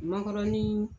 Mankɔrɔni